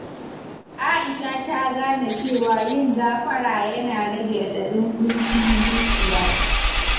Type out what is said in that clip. Aisha ta gane cewa yin gafara yana rage raɗaɗin ƙuncin zuciya.